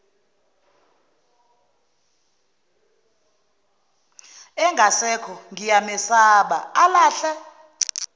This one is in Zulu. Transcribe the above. engasekho ngiyamesaba alahle